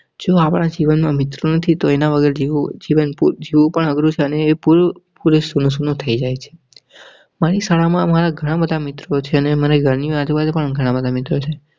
જો આપણા જીવનમાં મિત્ર નથી તો એના વગર જીવું જીવંત જુઓ અને એ પૂરું સુનું સુનું થઈ જાય છે. મારી શાળા માં મારા ઘણા બધા મિત્અરો છે. મારા ઘર ની અજુ બાજુ પણ ઘણા સારા મિત્રો છે.